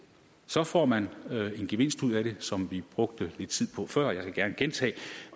så får man en gevinst ud af det som vi brugte lidt tid på før jeg kan gerne gentage